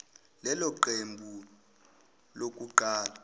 lelo qembu lokuqala